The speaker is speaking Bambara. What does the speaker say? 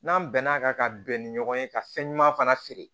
N'an bɛn'a kan ka bɛn ni ɲɔgɔn ye ka fɛn ɲuman fana feere